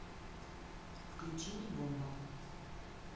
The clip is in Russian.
включи мне бомба